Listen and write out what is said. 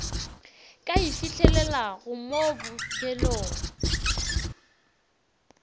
ka e fihlelelago mo bofelong